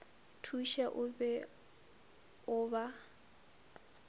thuše o be o ba